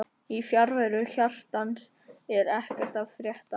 Í fjarveru hjartans er ekkert að frétta